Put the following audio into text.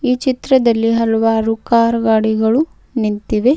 ಈ ಚಿತ್ರದಲ್ಲಿ ಹಲವಾರು ಕಾರ್ ಗಾಡಿಗಳು ನಿಂತಿವೆ.